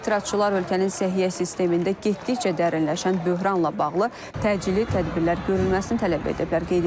Etirazçılar ölkənin səhiyyə sistemində getdikcə dərinləşən böhranla bağlı təcili tədbirlər görülməsini tələb ediblər.